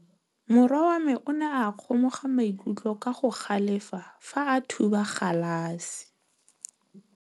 Morwa wa me o ne a kgomoga maikutlo ka go galefa fa a thuba galase.